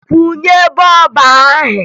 Kwụnye bọọbụ ahụ!